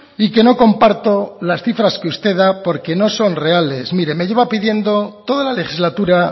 y que no comparto que las cifras que usted da porque no son reales mire me lleva pidiendo toda la legislatura